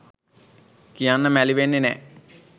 කියන්න මැලි වෙන්නෙ නෑ